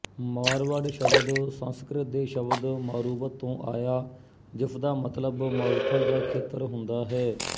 ਮਾਰਵਾੜ ਸ਼ਬਦ ਸੰਸਕ੍ਰਿਤ ਦੇ ਸ਼ਬਦ ਮਾਰੂਵਤ ਤੋਂ ਆਇਆ ਜਿਸਦਾ ਮਤਲਬ ਮਾਰੂਥਲ ਦਾ ਖੇਤਰ ਹੁੰਦਾ ਹੈ